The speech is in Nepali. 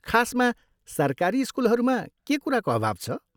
खासमा सरकारी स्कुलहरूमा के कुराको अभाव छ?